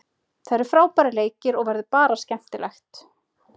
Það eru frábærir leikir og verður bara skemmtilegt.